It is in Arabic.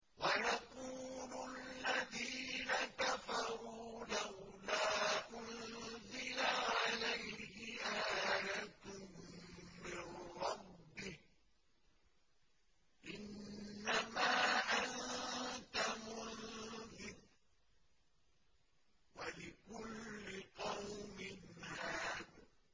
وَيَقُولُ الَّذِينَ كَفَرُوا لَوْلَا أُنزِلَ عَلَيْهِ آيَةٌ مِّن رَّبِّهِ ۗ إِنَّمَا أَنتَ مُنذِرٌ ۖ وَلِكُلِّ قَوْمٍ هَادٍ